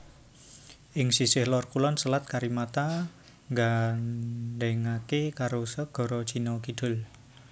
Ing sisih lor kulon Selat Karimata nggandhèngaké karo Segara Cina Kidul